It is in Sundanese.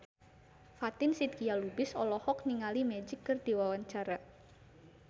Fatin Shidqia Lubis olohok ningali Magic keur diwawancara